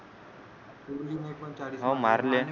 कोहली ने पण चाळीस मारले